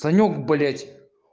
санёк блять